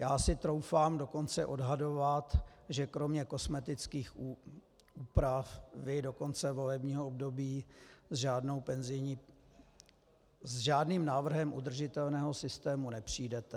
Já si troufám dokonce odhadovat, že kromě kosmetických úprav do konce volebního období s žádným návrhem udržitelného systému nepřijdete.